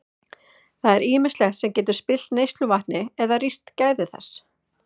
Það er ýmislegt sem getur spillt neysluvatni eða rýrt gæði þess.